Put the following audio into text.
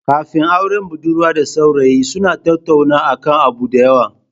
Kafin aure budurwa da saurayi suna tattaunawa akan abu da yawa